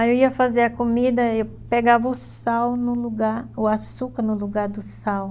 Aí eu ia fazer a comida, e pegava o sal no lugar, o açúcar no lugar do sal.